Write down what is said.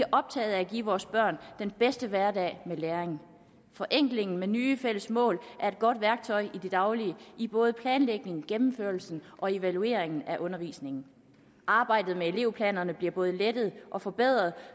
optaget af at give vores børn den bedste hverdag med læring forenklingen med nye fælles mål er et godt værktøj i det daglige i både planlægningen gennemførelsen og evalueringen af undervisningen arbejdet med elevplanerne bliver både lettet og forbedret